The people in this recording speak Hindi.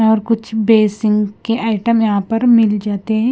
और कुछ बेसिंग के आइटम यहां पर मिल जाते हैं।